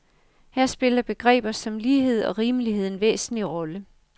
Her spiller begreber som lighed og rimelighed en væsentlig rolle.